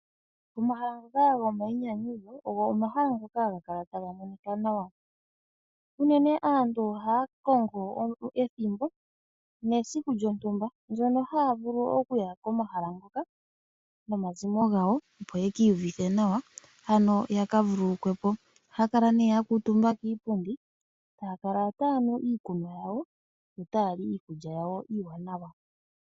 Omahala ngoka gomayinyanyudho ogo omahala ngoka haga kala taga monika nawa unene aantu oha ya kongo ethimbo nesiku lyontumba ndyono haya vulu okuya komahala ngoka nomazimo gawo opo ye kiiyuvithe nawa ano yaka vululukwepo oha ya kala nee ya kuutumba kiipundi taya kala taya nu iikunwa yawo yo taya li iikulya yawo iiwanawa.